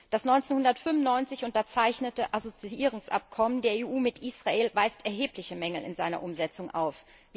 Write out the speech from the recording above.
Das 1995 unterzeichnete Assoziierungsabkommen der EU mit Israel weist erhebliche Mängel in seiner Umsetzung auf.